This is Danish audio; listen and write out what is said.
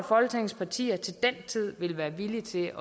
at folketingets partier til den tid vil være villige til